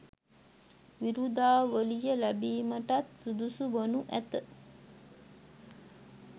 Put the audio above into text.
විරුදාවලිය ලැබීමටත් සුදුසු වනු ඇත.